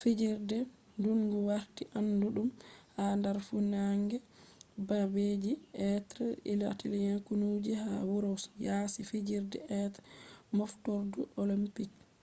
fijirdeji ndungu warti anduɗum ha dar funange babeji be italians konuji ha wuroji yasi fijirde be olympic moftordu